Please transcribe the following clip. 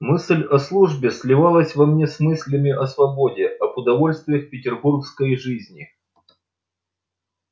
мысль о службе сливалась во мне с мыслями о свободе об удовольствиях петербургской жизни